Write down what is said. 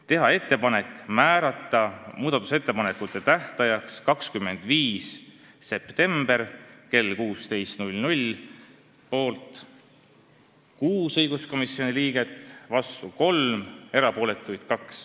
Muudatusettepanekute tähtajaks võiks määrata 25. septembri kell 16.00 – poolt oli 6 õiguskomisjoni liiget, vastu 3, erapooletuid 2.